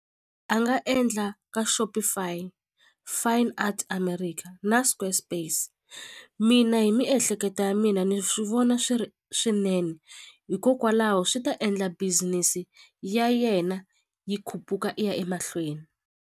A nga endla ka Shopfy Fine Art America na Square Space mina hi miehleketo ya mina ni swi vona swi ri swinene hikokwalaho swi ta endla business ya yena yi khuphuka i ya emahlweni.